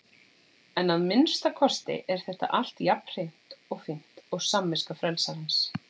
En að minnsta kosti er þetta allt jafn hreint og fínt og samviska frelsarans.